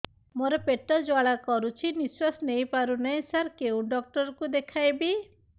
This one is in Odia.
ମୋର ପେଟ ଜ୍ୱାଳା କରୁଛି ନିଶ୍ୱାସ ନେଇ ପାରୁନାହିଁ ସାର କେଉଁ ଡକ୍ଟର କୁ ଦେଖାଇବି